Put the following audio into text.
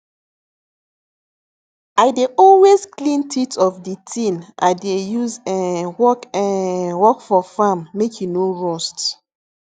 i dey always clean teeth of the tin i dey use um work um work for farm make e no rust